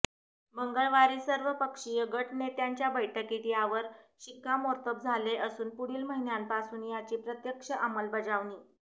मंगळवारी सर्वपक्षीय गटनेत्यांच्या बैठकीत यावर शिक्कामोर्तब झाले असून पुढील महिन्यापासून याची प्रत्यक्ष अंमलबजावणी